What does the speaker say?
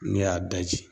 Ne y'a daji